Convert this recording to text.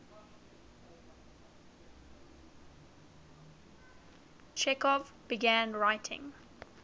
chekhov began writing